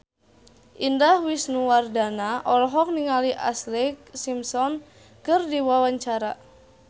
Indah Wisnuwardana olohok ningali Ashlee Simpson keur diwawancara